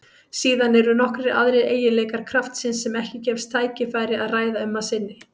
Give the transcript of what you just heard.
Síðan eru nokkrir aðrir eiginleikar kraftsins sem ekki gefst tækifæri að ræða um að sinni.